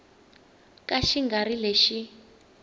ka xi nga ri lexi